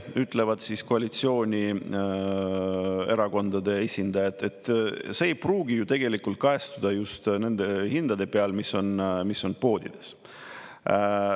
Aga koalitsioonierakondade esindajad ütlevad, et kui me seda teeme, siis see ei pruugi kajastuda just nende hindade peal, mis on poodides.